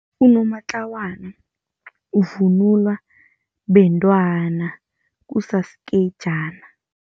Unomatlawana uvunulwa bentwana kusasikejana.